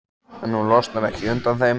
En hún losnar ekki undan þeim.